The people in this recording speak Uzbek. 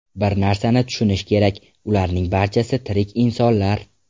Bir narsani tushunish kerak, ularning barchasi tirik insonlar.